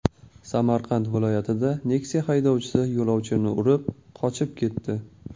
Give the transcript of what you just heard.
Samarqand viloyatida Nexia haydovchisi yo‘lovchini urib, qochib ketdi.